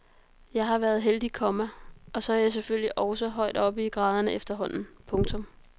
Jeg har været heldig, komma og så er jeg selvfølgelig også højt oppe i graderne efterhånden. punktum